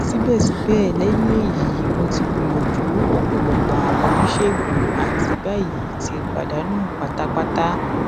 sibẹsibẹ lẹhin eyi mo ti gbiyanju ọpọlọpọ awọn onisegun ati bayi ti padanu patapata